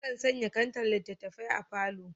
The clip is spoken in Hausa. Akan sanya kantar littattafai a falo.